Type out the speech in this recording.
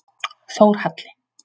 Þórhalli